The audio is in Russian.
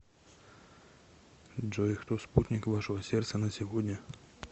джой кто спутник вашего сердца на сегодня